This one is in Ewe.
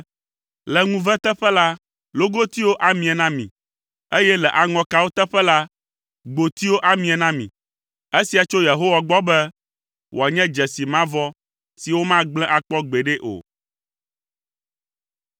Le ŋuve teƒe la logotiwo amie na mi, eye le aŋɔkawo teƒe la gbotiwo amie na mi. Esia tso Yehowa gbɔ be, wòanye dzesi mavɔ si womagblẽ akpɔ gbeɖe o.”